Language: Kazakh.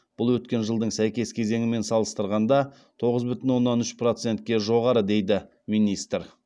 бұл өткен жылдың сәйкес кезеңімен салыстырғанда тоғыз бүтін оннан үш процентке жоғары дейді министр